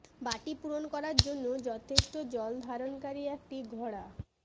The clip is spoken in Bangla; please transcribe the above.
বাটি পূরণ করার জন্য যথেষ্ট জল ধারণকারী একটি ঘড়া